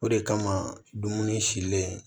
O de kama dumuni silen